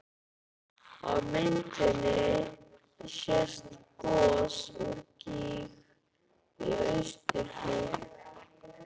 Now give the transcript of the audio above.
Á myndinni sést gos úr gíg í austurhlíð